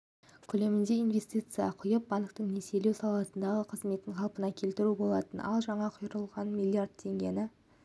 көлемінде инвестиция құйып банктің несиелеу саласындағы қызметін қалпына келтірген болатын ал жаңа құйылған миллиард теңгені